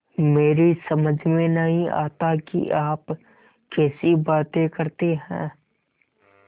मेरी समझ में नहीं आता कि आप कैसी बातें करते हैं